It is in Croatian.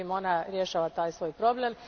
Međutim, ona rješava taj svoj problem.